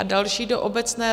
A další do obecné...